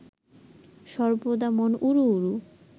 সর্বদা মন উড়ু উড়ু